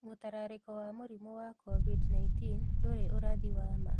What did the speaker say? Mũtararĩko wa mũrimũ wa COVID-19, ndũrĩ ũrathi wa ma.